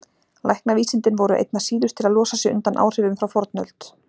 Læknavísindin voru einna síðust til að losa sig undan áhrifum frá fornöld.